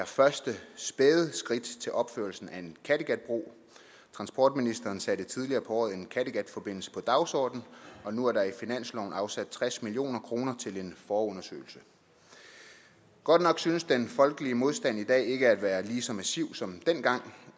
første spæde skridt til opførelsen af en kattegatbro transportministeren satte tidligere på året en kattegatforbindelse på dagsordenen og nu er der i finansloven afsat tres million kroner til en forundersøgelse godt nok synes den folkelige modstand i dag ikke at være lige så massiv som dengang